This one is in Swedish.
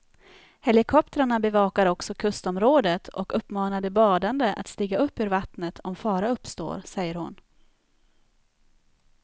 Helikoptrarna bevakar också kustområdet och uppmanar de badande att stiga upp ur vattnet om fara uppstår, säger hon.